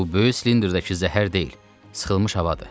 Bu böyük silindrdəki zəhər deyil, sıxılmış havadır.